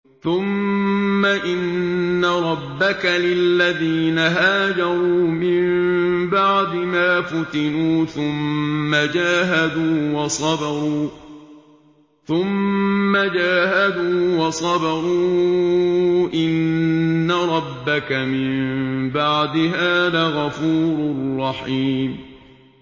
ثُمَّ إِنَّ رَبَّكَ لِلَّذِينَ هَاجَرُوا مِن بَعْدِ مَا فُتِنُوا ثُمَّ جَاهَدُوا وَصَبَرُوا إِنَّ رَبَّكَ مِن بَعْدِهَا لَغَفُورٌ رَّحِيمٌ